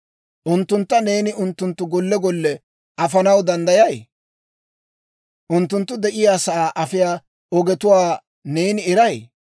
Unttuntta neeni unttunttu golle golle afanaw danddayay? Unttunttu de'iyaasaa afiyaa ogetuwaa neeni eray?